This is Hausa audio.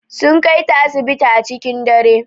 Sun Kai ta asibiti a cikin dare.